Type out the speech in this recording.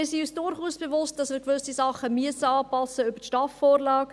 Wir sind uns durchaus bewusst, dass wir gewisse Dinge über die STAF-Vorlage anpassen müssen.